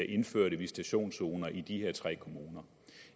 indført visitationszoner i de her tre kommuner